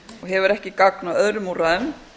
hefur ekki gagn af öðrum úrræðum